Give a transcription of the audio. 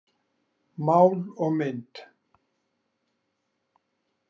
Mál og mynd.